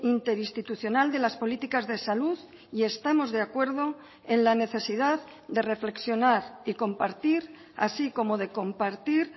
interinstitucional de las políticas de salud y estamos de acuerdo en la necesidad de reflexionar y compartir así como de compartir